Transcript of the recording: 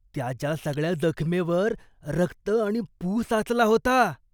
त्याच्या सगळ्या जखमेवर रक्त आणि पू साचला होता.